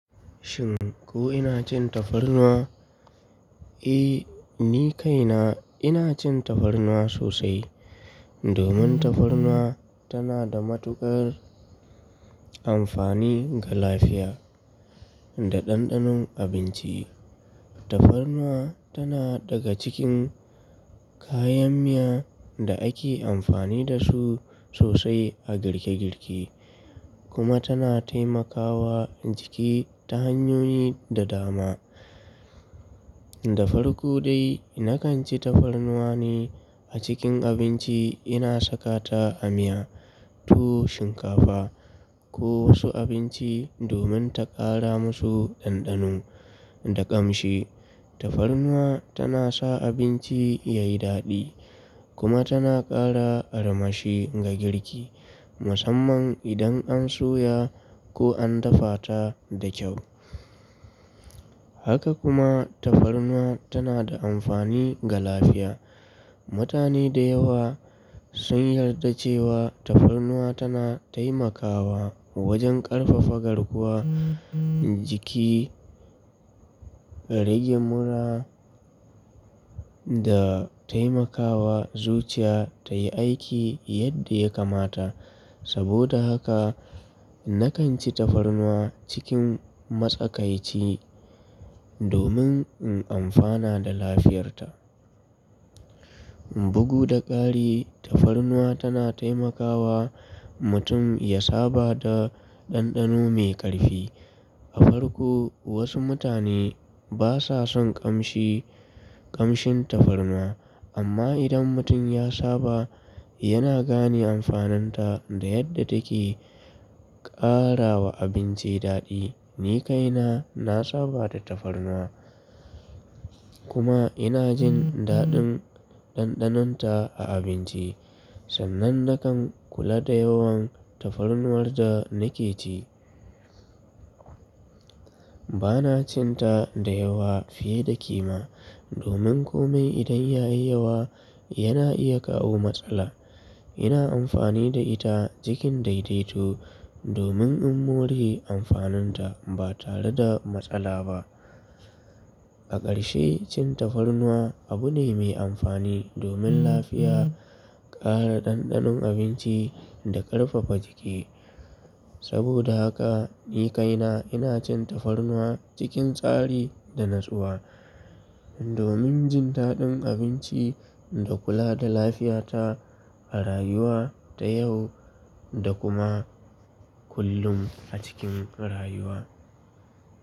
Shin ko ina cin tafarnuwa? Eh, ni kaina ina cin tafarnuwa sosai domin tafarnuwa tana da matuƙar amfani ga lafiya da ɗanɗanon abinci. Tafarnuwa tana daga cikin kayan miya da ake amfani da su sosai a girkegirki kuma tana taimakawa jiki ta hanyoyi da dama. Da farko dai, na kan ci tafarnuwa ne a cikin abinci. Ina saka ta a miya, tuwo, shinkafa ko wasu abinci domin ta ƙara musu ɗanɗano da ƙamshi. Tafarnuwa tana sa abinci ya yi daɗi kuma tana ƙara armashi ga girki musamman idan an soya ko an dafa ta da kyau. Haka kuma tafarnuwa tana da amfani ga lafiya. Mutane da yawa sun yarda cewa tafarnuwa tana taimakawa wajen ƙarfafa garkuwa, jiki, rage mura da taimakawa zuciya tayi aiki yadda ya kamata. Saboda haka na kan ci tafarnuwa cikin matsakaici domin in amfana da lafiyarta. Bugu da ƙari tafarnuwa tana taimakawa mutum ya saba da ɗanɗano mai ƙarfi. A farko wasu mutane basa son ƙamshi, ƙamshin tafarnuwa amma idan mutum ya saba yana gane amfaninta da yadda take ƙara wa abinci daɗi. Ni kaina na saba da tafarnuwa kuma ina jin daɗin ɗanɗanonta a abinci sannan na kan kula da yawan tafarnuwar da nake ci. Bana cin ta da yawa fiye da kima domin kome idan ya yi yawa yana iya kawo matsala. Ina amfani da ita cikin daidaito domin in more amfaninta ba tare da matsala ba. A ƙarshe cin tafarnuwa abu ne mai amfani domin lafiya, ƙara ɗanɗanon abinci da ƙarfafa jiki. Saboda haka ni kaina ina cin tafarnuwa cikin tsari da natsuwa domin jin daɗin abinci da kula da lafiyata a rayuwa ta yau da kuma kullum a cikin rayuwa.